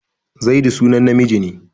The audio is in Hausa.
Zaidu sunan namiji ne.